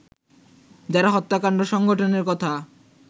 যারা হত্যাকাণ্ড সংঘটনের কথা